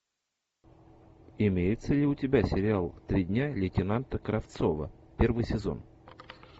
имеется ли у тебя сериал три дня лейтенанта кравцова первый сезон